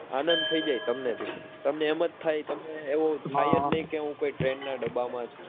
આનંદ થઈ જાય તમે બી તમને એમ જ થાય તમને એવું થાય જ નહિ કે હું કોઈ train ના ડબ્બા માં છુ.